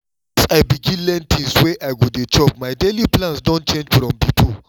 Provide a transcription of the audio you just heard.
since i begin learn things wey i go dey chop my daily plans don change from before